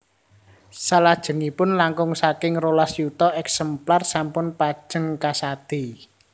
Salajengipun langkung saking rolas yuta èksemplar sampun pajeng kasadé